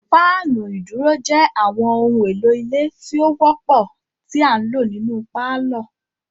Fáànù iduro jé àwọn ohùn èlò ilé tí ọ wópò ti a ǹlo nínú parlor